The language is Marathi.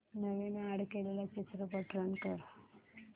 नवीन अॅड केलेला चित्रपट रन कर